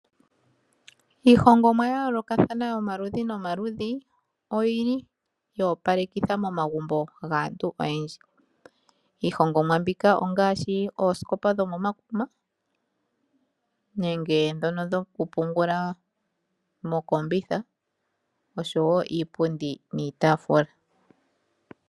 Iihongomwa ya yoolokathana yomaludhi nomaludhi, oyili yo opalekitha momagumbo gaantu oyendji. Iihongomwa mbyoka ongaashi oosikopa dhomomakuma, nenge dhono dhoku pungula mokombitha, oshowo iipundi niitaafula.